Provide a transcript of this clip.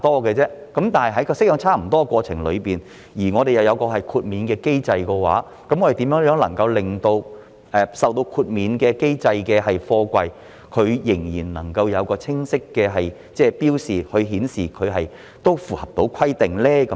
然而，在檢查過程中又設有豁免機制的話，如何令到受該機制豁免的貨櫃仍然能夠有清晰的標示，以顯示它符合規定呢？